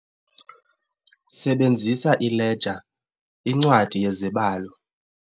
Sebenzisa ileja, incwadi yezibalo.